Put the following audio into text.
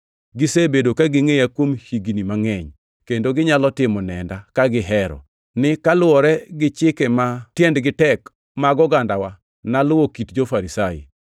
Gisebedo ka gingʼeya kuom higni mangʼeny, kendo ginyalo timo nenda, ka gihero, ni kaluwore gi chike ma tiendgi tek mag ogandawa, naluwo kit jo-Farisai.